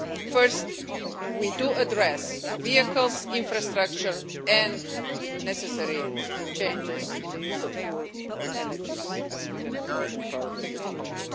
First, we do address vehicles, infrastructure and necessary changes in the use of fuel or energies', as we are probably going to call them in the future.